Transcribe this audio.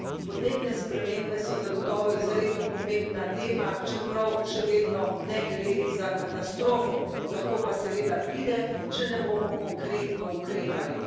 Podnebne spremembe so zagotovo izredno pomembna tema, čeprav še vedno ne gre za katastrofo, lahko pa seveda pride, če ne bomo konkretno ukrepali.